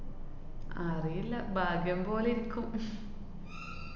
അറിയില്ല ഭാഗ്യം പോലെ ഇരിക്കും.